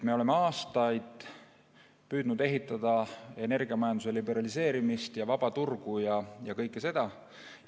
Me oleme aastaid püüdnud energiamajanduse liberaliseerimist ja vaba turgu ja kõike seda.